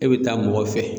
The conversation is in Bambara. E bɛ taa mɔgɔ fɛ